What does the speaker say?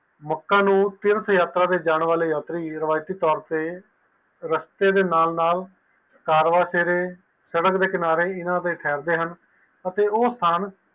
ਲੋਕ ਨੂੰ ਤੀਰਥ ਯਾਤਰਾ ਦੇਣਾ ਜਾਨ ਵਾਲੇ ਯਾਤਰੀ ਉਰਵੀਸੀ ਤੋਰ ਤੇ ਰਸਤੇ ਦੇ ਨਾਲ ਨਾਲ ਸੜਕ ਦੇ ਕਿਨਾਰੇ ਥੇਰ ਦੇ ਹਨ